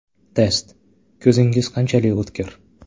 Test: Ko‘zingiz qanchalik o‘tkir?.